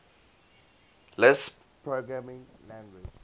lisp programming language